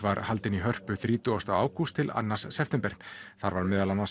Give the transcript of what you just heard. var haldin í Hörpu þrítugasta ágúst annan september þar var meðal annars